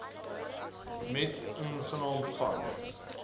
met inagneming van